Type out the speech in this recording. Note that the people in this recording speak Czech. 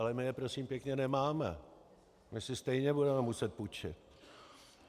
Ale my je prosím pěkně nemáme, my si stejně budeme muset půjčit.